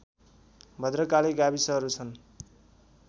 भद्रकाली गाविसहरू छन्